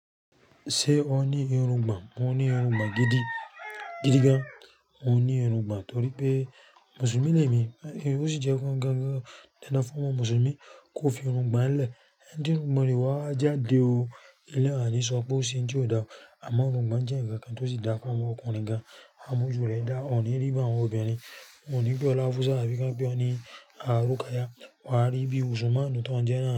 Ṣé o ní irùngbọ̀n? Mo ní irùngbọ̀n gidi, gidi gan. Mo ní irùngbọ̀n torí pé Mùsùlùmí lè mi, ó sì jẹ́ dandan fún ọmọ Mùsùlùmí kí ó fi irùngbọ̀n lẹ̀. Tí irùngbọ̀n rẹ̀ kò bá wá jáde o, elé yẹn à ní sọ pé ó ṣe ohun tí kò dá. Àmọ́ irùngbọ̀n jẹ́ ǹkan kan tí ó sì dára fún ọmọ ọkùnrin gan-an. Á mú ojú rẹ̀ dá, o kò ní rí bí àwọn obìnrin, wọn ní pè ọ́ Áfúsá, tàbí kí wọ́n pè ọ́ ní Rúkáyat. Wàá rí bí Mùsùlùmí tó ń jẹ́ náà ni.